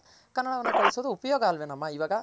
ಕನ್ನಡವನ್ನ ಕಲಿಸೋದ್ ಉಪಯೋಗ ಅಲ್ವೇನಮ್ಮ ಇವಾಗ .